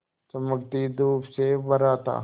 चमकती धूप से भरा था